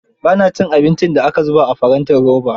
Ba na cin abin da aka zubo a farantin roba.